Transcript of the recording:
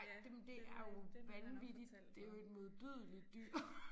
Ej det det er jo vanvittigt det jo et modbydeligt dyr